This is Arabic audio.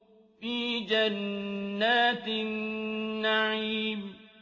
فِي جَنَّاتِ النَّعِيمِ